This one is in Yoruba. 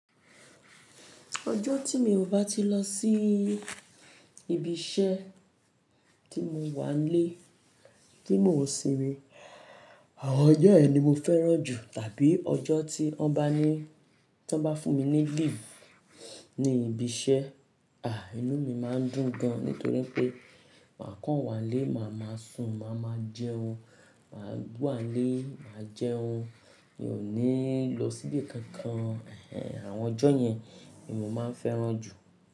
Ọjọ́ tí mi ò bá ti lọ sí ibi iṣẹ́ tí mo wà n lé, tí mo ò ṣinmi, àwọn ọjọ́ yen ni mo fẹ́ràn jù tàbí ọjọ́ tí wọ́n bá ní, tọ́ n bá fún mi ni léave ní ibi iṣẹ́, inú mi máa ń dùn gan nítorí pé màá kàn wá n lé, màá máa sùn, màá máa jẹun, màá wá n lé, màá jẹun. Mi ò ní lọ síbi kankan. Ehn ehn, àwọn ọjọ́ yẹn ni mo máa ń fẹ́ràn jù.